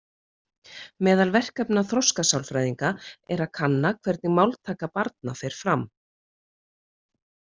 Meðal verkefna þroskasálfræðinga er að kanna hvernig máltaka barna fer fram.